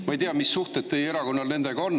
Ma ei tea, mis suhted teie erakonnal nendega on.